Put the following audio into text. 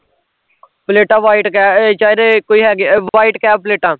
ਪਲੇਟਾਂ white ਕਹਿ ਚਾਹੇ ਤੇ ਕੋਈ ਤੇ white ਕਹਿ ਪਲੇਟਾਂ